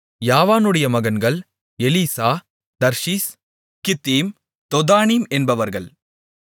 யாவானுடைய மகன்கள் Elishah Tarshish Kittim Dodanim என்பவர்கள்